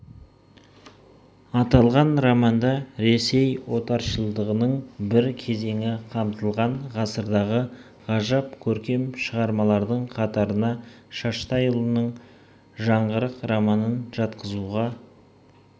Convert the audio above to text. аталған романда ресей отаршылдығының бір кезеңі қамтылған ғасырдағы ғажап көркем шығармалардың қатарына шаштайұлының жаңғырық романын жатқызуға